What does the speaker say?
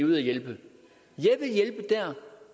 vil hjælpe der